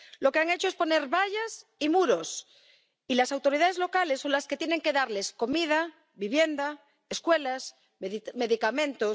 lo que han hecho es poner vallas y muros, y las autoridades locales son las que tienen que darles comida, vivienda, escuelas, medicamentos...